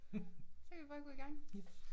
Så kan vi bare gå i gang